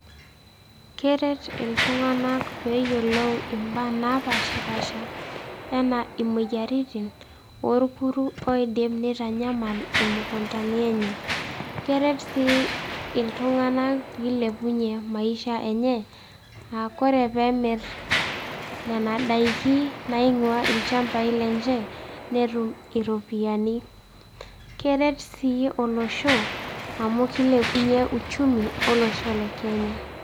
Keret iltung'anak ooyiolo imbaa naapaashipaasha enaa imoyiaritin orkuru oidim nitanyamal imukundani enye. Keret sii iltung'anak piilepunyie maisha enye aaku ore peemirr nena daiki naing'uaa ilchambai lenye netum iropiyiani, keret sii olosho amu kilepunyie uchumi olosho le Kenya.